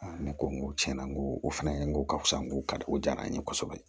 ne ko n ko tiɲɛna n ko o fɛnɛ n ko ka fisa n ko kariko jara n ye kosɛbɛ